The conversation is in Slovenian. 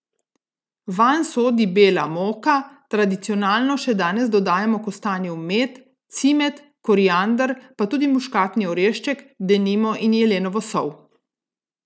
Vanj sodi bela moka, tradicionalno še danes dodajamo kostanjev med, cimet, koriander pa tudi muškatni orešček, denimo, in jelenovo sol.